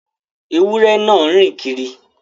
Ẹwurẹ̀ náà ń rìn kírì